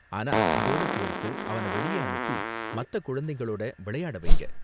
ஆனா, அதோட சேர்த்து அவன வெளியே அனுப்பி மத்த குழந்தைகளோட விளையாட வைங்க.